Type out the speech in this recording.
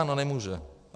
Ano, nemůžu.